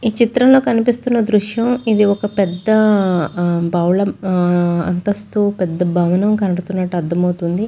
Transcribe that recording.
ఈ చిత్రంలో కనిపిస్తున్న దృశ్యం ఇది ఒక పెద్ద భవలం అంతస్తు పెద్ద భవనం కనపడుతున్నట్టు అర్థమవుతుంది.